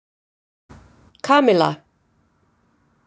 Kamilla